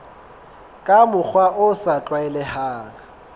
ka mokgwa o sa tlwaelehang